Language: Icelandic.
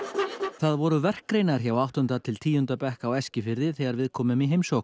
það voru verkgreinar hjá áttunda til tíunda bekk á Eskifirði þegar við komum í heimsókn